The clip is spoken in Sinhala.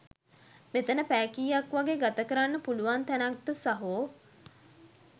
මෙතන පැය කීයක් වගේ ගත කරන්න පුලුවන් තැනක්ද සහෝ?